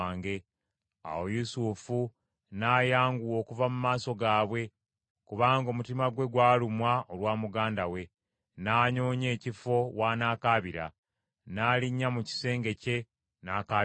Awo Yusufu n’ayanguwa okuva mu maaso gaabwe, kubanga omutima gwe gwalumwa olwa muganda we, n’anoonya ekifo w’anaakabira. N’alinnya mu kisenge kye n’akaabira eyo.